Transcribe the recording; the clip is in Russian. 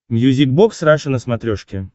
мьюзик бокс раша на смотрешке